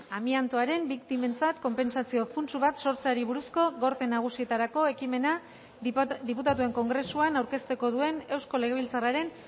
amiantoaren biktimentzat konpentsazio funts bat sortzeari buruzko gorte nagusietarako ekimena diputatuen kongresuan aurkeztuko duen eusko legebiltzarraren